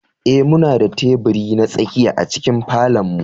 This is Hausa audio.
Ee, muna da teburi na tsakiya a cikin falon mu.